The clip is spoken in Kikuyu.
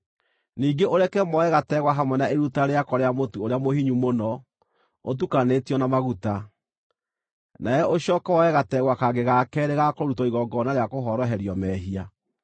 Ningĩ ũreke moe gategwa hamwe na iruta rĩako rĩa mũtu ũrĩa mũhinyu mũno ũtukanĩtio na maguta; nawe ũcooke woe gategwa kangĩ ga keerĩ ga kũrutwo igongona rĩa kũhoroherio mehia.